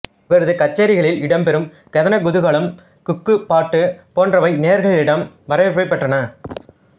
இவரது கச்சேரிகளில் இடம்பெறும் கதனகுதூகலம் குக்குக் பாட்டு போன்றவை நேயர்களிடம் வரவேற்பைப் பெற்றன